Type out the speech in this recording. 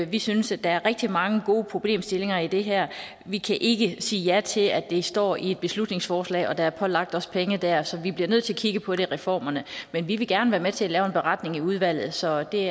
vi synes at der er rigtig mange gode problemstillinger i det her vi kan ikke sige ja til at det står i et beslutningsforslag og at der er pålagt os penge der så vi bliver nødt til at kigge på det i reformerne men vi vil gerne være med til at lave en beretning i udvalget så det